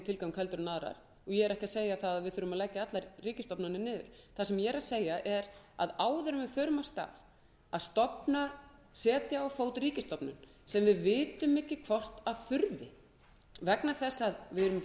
ég er ekki að segja að við þurfum að leggja allar ríkisstofnanir niður það sem ég er að segja er að áður en við förum af stað við að setja á fót ríkisstofnun sem við vitum ekki hvort þarf vegna þess að við erum ekki